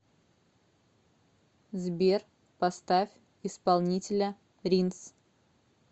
сбер поставь исполнителя ринс